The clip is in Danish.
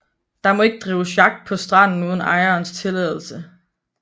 Der må derfor ikke drives jagt på stranden uden ejerens tilladelse